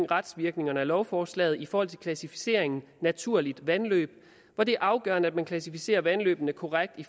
retsvirkningerne af lovforslaget i forhold til klassificeringen naturligt vandløb hvor det er afgørende at man klassificerer vandløbene korrekt i